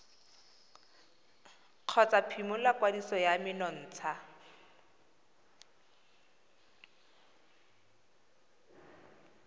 kgotsa phimola kwadiso ya menontsha